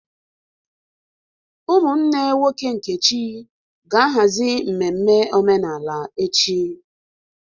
Ụmụnne nwoke Nkechi ga-ahazi mmemme omenala echi.